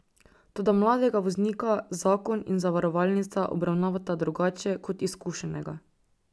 Toda mladega voznika zakon in zavarovalnica obravnavata drugače kot izkušenega.